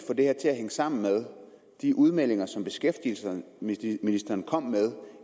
få det her til at hænge sammen med de udmeldinger som beskæftigelsesministeren kom med